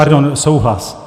Pardon, souhlas.